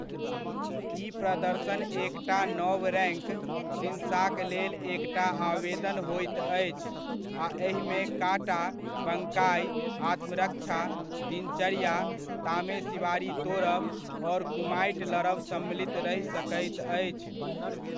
ई प्रदर्शन एकटा नव रैङ्क ,शिन्साक लेल एकटा आवेदन होइत अछि, आ एहिमे काटा, बंकाइ, आत्मरक्षा, दिनचर्या, तामेसिवारी तोड़ब और कुमाइट लड़ब सम्मिलित रहि सकैत अछि।